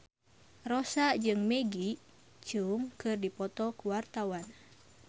Rossa jeung Maggie Cheung keur dipoto ku wartawan